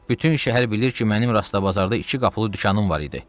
Bütün şəhər bilir ki, mənim Rastabazarda iki qapılı dükanım var idi.